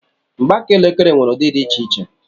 Mgbaaka elekere nwere ụdị dị iche iche.